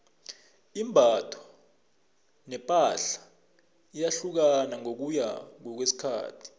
imbatho nepahla iyahlukahlukana ngokuya ngokwesikhathi